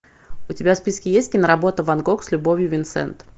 у тебя в списке есть киноработа ван гог с любовью винсент